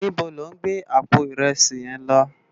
Nibó lò n gbé àpó irèsí yén lò?